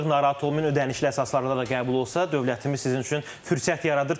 Narahat olmayın, ödənişli əsaslarla da qəbul olsa, dövlətimiz sizin üçün fürsət yaradır.